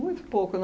Muito pouco na